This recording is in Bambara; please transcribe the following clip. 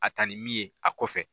A ta ni min ye ,a kɔfɛ.